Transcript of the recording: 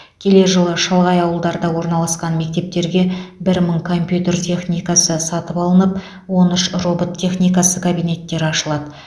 келер жылы шалғай ауылдарда орналасқан мектептерге бір мың компьютер техникасы сатып алынып он үш робот техникасы кабинеттері ашылады